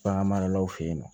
Bagan maralaw fe yen nɔ